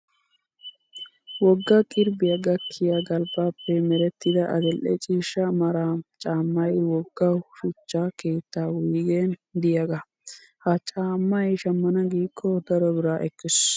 Wogga qirbbiyaa gakkiya galbbaappe merettida adil''e ciishsha mara caammayi wogga shuchcha keetta wuyigen diyaagaa. Ha caammayi shammana giikko daro bira ekkes.